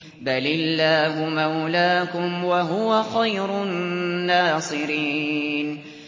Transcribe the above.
بَلِ اللَّهُ مَوْلَاكُمْ ۖ وَهُوَ خَيْرُ النَّاصِرِينَ